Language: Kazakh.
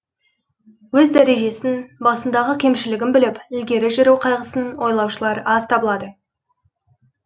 өз дәрежесін басындағы кемшілігін біліп ілгері жүру қайғысын ойлаушылар аз табылады